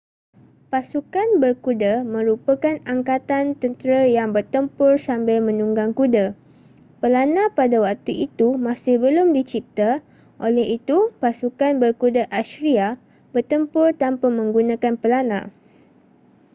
pasukan berkuda merupakan angkatan tentera yang bertempur sambil menunggang kuda pelana pada waktu itu masih belum dicipta oleh itu pasukan berkuda assyria bertempur tanpa menggunakan pelana